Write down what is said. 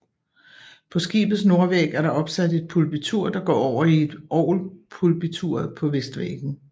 På skibets nordvæg er der opsat et pulpitur der går over i orgelpulpituret på vestvæggen